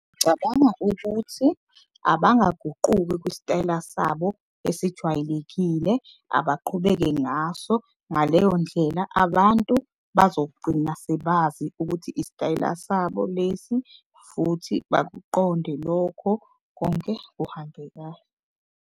Ukuthi abaguquki kwisitayela sabo esijwayelekile abaqhubeke ngaso. Ngaleyo ndlela abantu bazogcina sebazi ukuthi isitayela sabo lesi futhi bakuqonde lokho konke kuhambe .